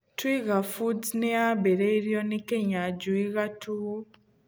Twiga Foods nĩ yaambĩrĩirio nĩ Kĩnyanjui Gatuu.